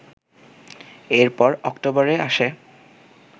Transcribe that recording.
এরপর অক্টোবরে আসে